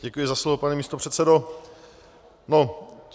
Děkuji za slovo, pane místopředsedo.